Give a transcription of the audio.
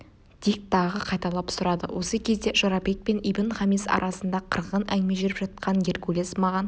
дик тағы қайталап сұрады осы кезде жорабек пен ибн-хамис арасында қырғын әңгіме жүріп жатқан геркулес маған